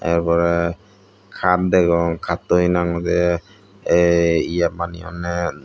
tar porey kaat degong kattoi hinang hoidey yei ye baneyonney.